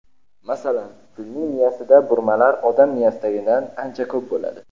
Masalan, filning miyasida burmalar odam miyasidagidan ancha ko‘p bo‘ladi.